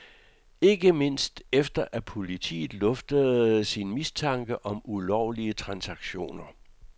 Ikke mindst efter at politiet luftede sin mistanke om ulovlige transaktioner.